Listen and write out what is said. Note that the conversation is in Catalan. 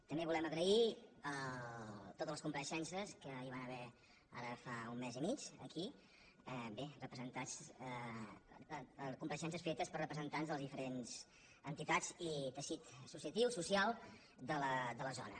també volem agrair totes les compareixences que hi van haver ara fa un mes i mig aquí bé compareixences fetes per representants de les diferents entitats i teixit associatiu i social de la zona